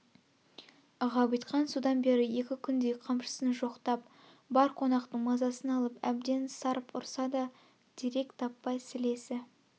ғабитхан содан бері екі күндей қамшысын жоқтап бар қонақтың мазасын алып әбден сарп ұрса да дерек таппай сілесі